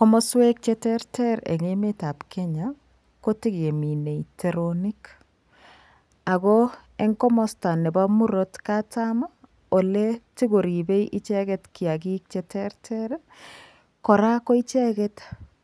Komaswek che terter eng emet ab kenya kotekeminei teronik ako eng komasta nebo murot katam ole tokoribei icheket kiakik che terter koraa ko icheket